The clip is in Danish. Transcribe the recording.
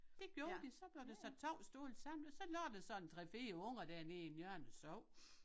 Det gjorde de så blev der sat 2 stole sammen og så lå der sådan 3 4 unger derinde i en hjørne og sov